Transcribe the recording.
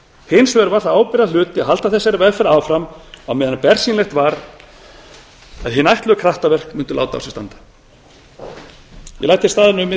hins vegar var það ábyrgðarhluti að halda þessari vegferð áfram á meðan bersýnilegt var að hin ætluðu kraftaverk mundu láta á sér standa ég læt hér staðar